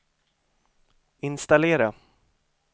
installera